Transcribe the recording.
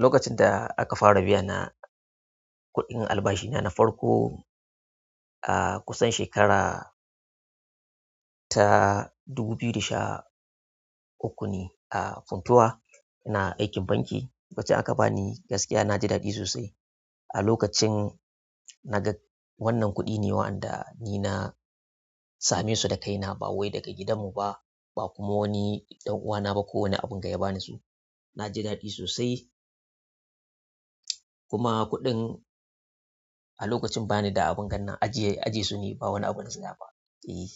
Lokacin da aka fara biyana kuɗin albashi na, na farko a kusan shekara ta dubu biyu da sha uku ne a Funtua ina aikin banki. Lokacin aka bani, gaskiya naji daɗi sosai. A lokacin na ga wannan kuɗi ne waɗanda ni na same su da kaina ba wai daga gidanmu ba, ba kuma wani ɗan uwana ba ko wani abin ga ya bani su. Na ji daɗi sosai. Kuma kuɗin. A lokacin bani da abin gannan ajiye, ajiye su nai ba wani abun su da ba. E,